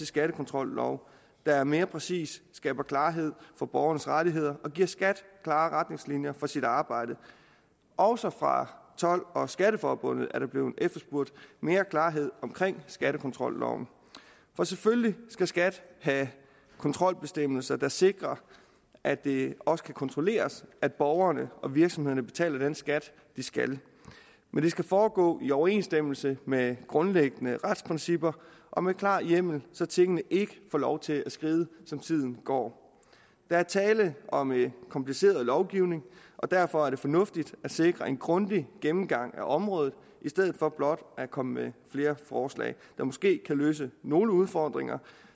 skattekontrollov der mere præcist skaber klarhed for borgernes rettigheder og giver skat klare retningslinjer for sit arbejde også fra told og skatteforbundet er der blevet efterspurgt mere klarhed omkring skattekontrolloven for selvfølgelig skal skat have kontrolbestemmelser der sikrer at det også kan kontrolleres at borgerne og virksomhederne betaler den skat de skal men det skal foregå i overensstemmelse med grundlæggende retsprincipper og med klar hjemmel så tingene ikke får lov til at skride som tiden går der er tale om kompliceret lovgivning og derfor er det fornuftigt at sikre en grundig gennemgang af området i stedet for blot at komme med flere forslag der måske kan løse nogle udfordringer